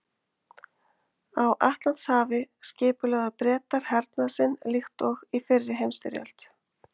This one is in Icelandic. Á Atlantshafi skipulögðu Bretar hernað sinn líkt og í fyrri heimsstyrjöld.